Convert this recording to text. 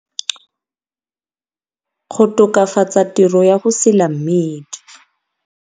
Go tokafatsa tiro ya go sila mmidi.